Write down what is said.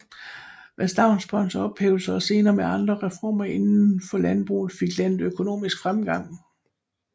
Med stavnsbåndets ophævelse og senere med andre reformer inden for landbruget fik landet økonomisk fremgang